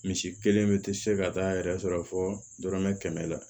Misi kelen bɛ tɛ se ka taa yɛrɛ sɔrɔ fɔ dɔrɔmɛ kɛmɛ la